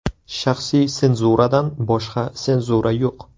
Shaxsiy senzuradan boshqa senzura yo‘q.